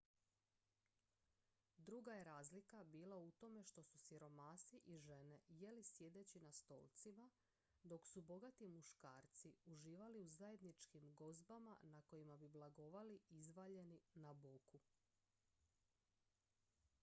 druga je razlika bila u tome što su siromasi i žene jeli sjedeći na stolcima dok su bogati muškarci uživali u zajedničkim gozbama na kojima bi blagovali izvaljeni na boku